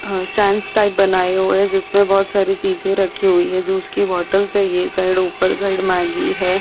आ stands type बनाये हुए है जिसमे बहुत सारी चीजे रखी हुई है जूस की बॉटल्स है ये साइड ऊपर साइड मैगी है।